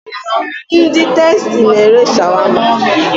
Ndị Tastee na ere Shawama